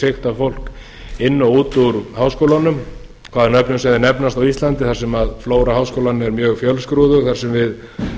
sigta fólk inn og út úr háskólanum hvaða nöfnum sem þeir nefnast á íslandi þar sem fara háskólanna er mjög fjölskrúðug þar sem við